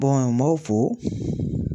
n m'aw fo.